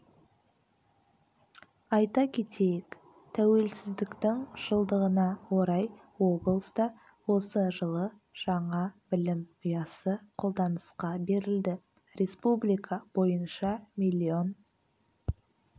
айта кетейік тәуелсіздіктің жылдығына орай облыста осы жылы жаңа білім ұясы қолданысқа берілді республика бойынша миллион